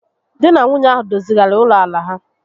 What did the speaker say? Di na nwunye ahụ dozigharịrị ụlọ àlà ha